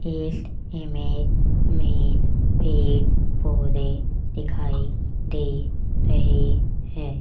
इस इमेज में पेड़ पौधे दिखाई दे रहे हैं।